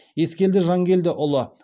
ескелді жанкелдіұлы